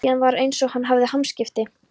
Síðan var einsog hann hefði hamskipti.